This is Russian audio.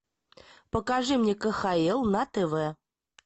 покажи мне кхл на тв